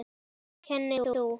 Kennir þú?